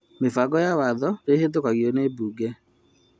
Mĩbango ya watho nĩ ĩhĩtũkagwo nĩ mbunge